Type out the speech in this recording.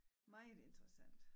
Meget interessant